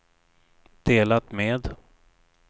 delat med